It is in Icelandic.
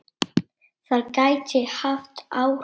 Það gæti haft áhrif.